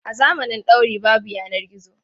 A zamanin dauri babu yanar gizo.